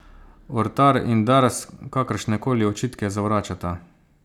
Ortar in Dars kakršnekoli očitke zavračata.